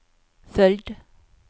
följd